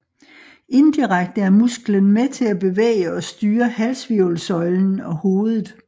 Indirekte er musklen med til at bevæge og styre halshvirvelsøjlen og hovedet